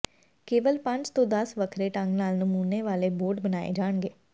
ਕੇਵਲ ਪੰਜ ਤੋਂ ਦਸ ਵੱਖਰੇ ਢੰਗ ਨਾਲ ਨਮੂਨੇ ਵਾਲੇ ਬੋਰਡ ਬਣਾਏ ਜਾਣਗੇ